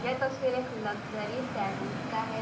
यह तस्वीर एक लग्जरी सैलून का है।